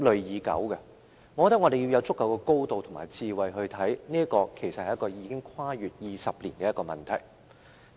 我覺得我們要從足夠的高度、以足夠的智慧來看，其實這是一個已經跨越20年的問題。